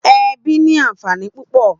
Èbí ni ànfání púpò